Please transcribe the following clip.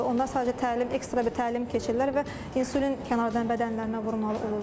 Onlar sadəcə təlim, ekstra bir təlim keçirlər və insulin kənardan bədənlərinə vurmalı olurlar.